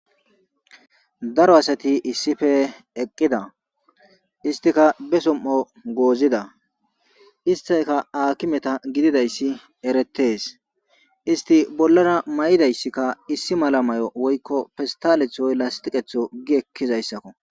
daro asati issife eqqida istika be som7o goozida istika akimeta gididayssi eretees isti bollara may7idayssikka issi malamayo woykko fistalethoy lastiqetho gi ekkizayssakko